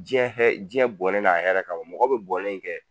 Diɲɛ hɛ diɲɛ bɔnɛ n'a hɛrɛ kama mɔgɔ bɛ bɔnɛ in kɛ